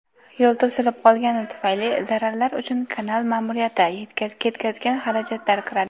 yo‘l to‘silib qolgani tufayli zararlar uchun kanal ma’muriyati ketkazgan xarajatlar kiradi.